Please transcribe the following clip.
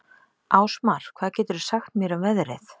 Ásmar, hvað geturðu sagt mér um veðrið?